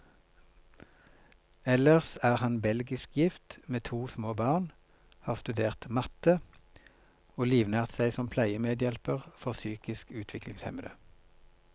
Ellers er han belgisk gift, med to små barn, har studert matte, og livnært seg som pleiemedhjelper for psykisk utviklingshemmede.